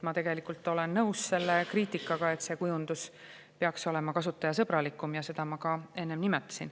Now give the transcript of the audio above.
Ma olen nõus kriitikaga, et see kujundus peaks olema kasutajasõbralikum, ja seda ma ka enne nimetasin.